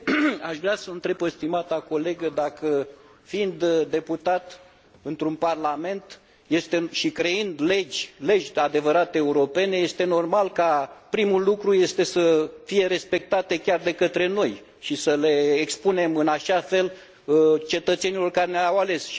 Aș vrea să o întreb pe stimata colegă dacă, fiind deputat într un parlament și creând legi, legi cu adevărat europene, este normal că primul lucru este să fie respectate chiar de către noi și să le expunem în așa fel cetățenilor care ne au ales?